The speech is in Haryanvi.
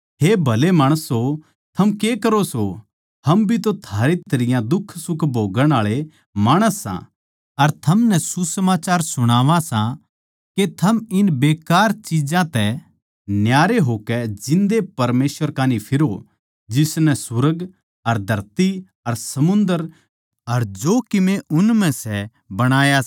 हे भले माणसों थम के करो सो हम भी तो थारे तरियां दुखसुख भोग्गण आळे माणस सां अर थमनै सुसमाचार सुणावां सां के थम इन बेकार चिज्जां तै न्यारे होकै जिन्दे परमेसवर कै कान्ही फिरो जिसनै सुर्ग अर धरती अर समुन्दर अर जो कीमे उन म्ह सै बणाया सै